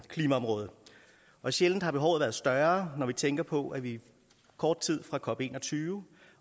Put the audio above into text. klimaområdet og sjældent har behovet været større når vi tænker på at vi er kort tid fra cop21